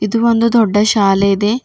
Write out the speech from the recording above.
ಇದು ಒಂದು ದೊಡ್ಡ ಶಾಲೆ ಇದೆ.